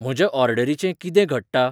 म्हज्या ऑर्डरीचे किदें घडटा ?